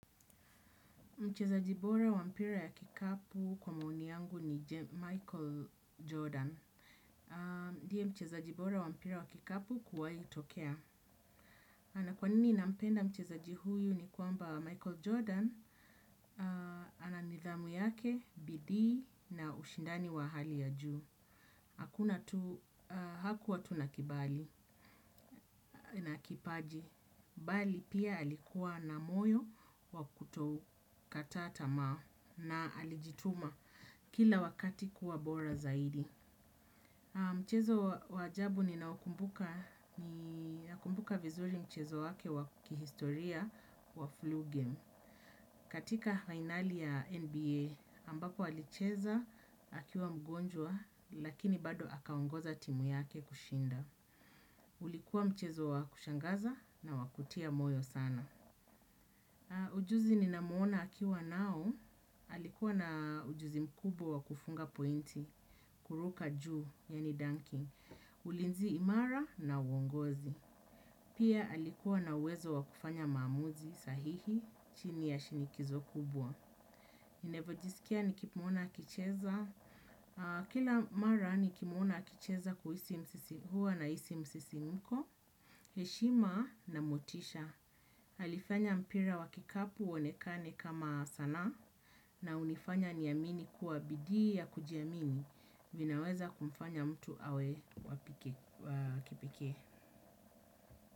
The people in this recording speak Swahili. Mcheza jibora wa mpira ya kikapu kwa maoni yangu ni Michael Jordan. Ndiye mcheza jibora wa mpira wa kikapu kuwaito kea. Ana kwanini nampenda mcheza jihuyu ni kuamba Michael Jordan. Ana nidhamu yake, bidii na ushindani wa hali ya juu. Hakuna tuu, hakuwa tuu na kibali, na kipaji. Bali pia alikuwa na moyo wakutokata tamaa na alijituma kila wakati kuwa bora zaidi. Mchezo wajabu ni naokumbuka vizuri mchezo wake wakihistoria wa flu game. Katika finali ya NBA ambako alicheza akiwa mgonjwa lakini bado akaongoza timu yake kushinda. Ulikuwa mchezo wa kushangaza na wakutia moyo sana. Ujuzi ninamuona akiwa nao, alikuwa na ujuzi mkubwa wa kufunga pointi, kuruka juu, yani dunking, ulinzi imara na uongozi. Pia alikuwa na uwezo wa kufanya mamuzi, sahihi, chini ya shinikizo kubwa. Navyojisikia nikimuona akicheza, kila mara nikimuona akicheza huwa na isi msisi mko, heshima na motisha. Halifanya mpira wakikapu onekane kama sana na unifanya niamini kuabidi ya kujiamini vinaweza kumfanya mtu awe waki pekee.